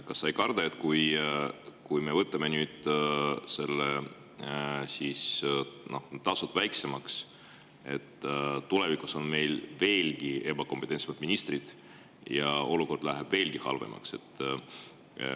Kas sa ei karda, et kui me võtame nüüd tasud väiksemaks, siis on tulevikus meil veelgi ebakompetentsemad ministrid ja olukord läheb veelgi halvemaks?